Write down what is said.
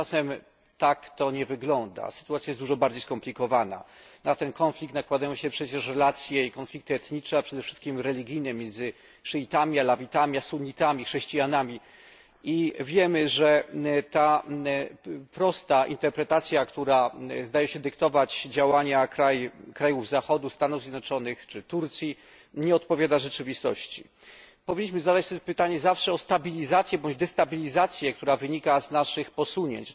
Tymczasem sytuacja jest dużo bardziej skomplikowana. Na konflikt ten nakładają się przecież relacje i konflikty etniczne, a przede wszystkim religijne między szyitami, alawitami, sunnitami, chrześcijanami i wiemy, że ta prosta interpretacja, która zdaje się dyktować działania krajów Zachodu, Stanów Zjednoczonych czy Turcji, nie odpowiada rzeczywistości. Powinniśmy sobie zawsze zadać pytanie o stabilizację bądź destabilizację, która wynika z naszych posunięć.